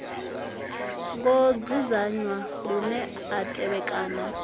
ngo dzudzanywa lune a tevhekana